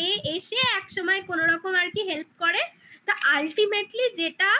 সেই এসে একসময় কোনোরকম আর কি help করে । তা ultimately যেটা